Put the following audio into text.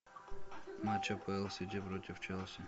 матч апл сити против челси